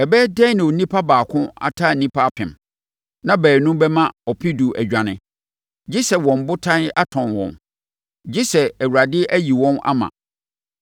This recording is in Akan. Ɛbɛyɛ dɛn na onipa baako ataa nnipa apem, na baanu bɛma ɔpedu adwane, gye sɛ wɔn Botan atɔn wɔn. Gye sɛ Awurade ayi wɔn ama.